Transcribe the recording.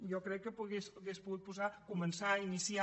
jo crec que hi hagués pogut posar començar iniciar